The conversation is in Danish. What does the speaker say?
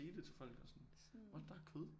Sige det til folk og sådan what der er kød